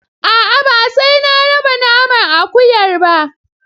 A'a ba sai na raba naman akuyar ba.